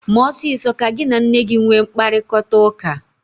Mee ọsịsọ ka gị na nne gi nwee mkparịkọtaụka!